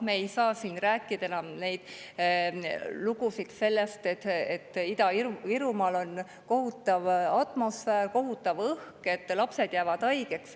Me ei saa siin rääkida enam neid lugusid, et Ida‑Virumaal on kohutav atmosfäär, kohutav õhk, lapsed jäävad haigeks.